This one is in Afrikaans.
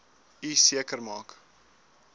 u seker maak